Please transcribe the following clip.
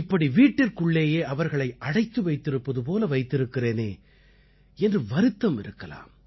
இப்படி வீட்டிற்குள்ளேயே அவர்களை அடைத்து வைத்திருப்பது போல வைத்திருக்கிறேனே என்று வருத்தம் இருக்கலாம்